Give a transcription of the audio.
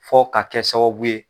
Fo ka kɛ sababu ye